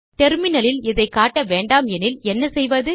டெர்மினலில் இதை காட்ட வேண்டாமெனில் என்ன செய்வது